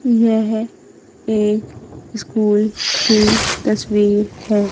यह एक स्कूल की तस्वीर है।